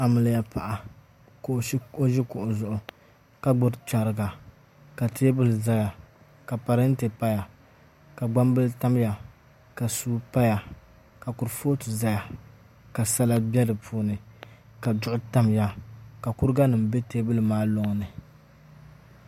Amiliya paɣa ka o ʒi kuɣu zuɣu ka gbubi chɛrigi paya ka parantɛ paya ka gbambili tamya ka suu paya ka kurifooti ʒɛya ka sala bɛ di puuni ka duɣu tamya ka kuriga nim bɛ teebuli maa loŋni